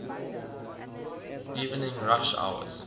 evening rush hours